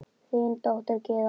Þín dóttir, Gyða María.